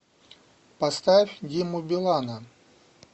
поставь диму билана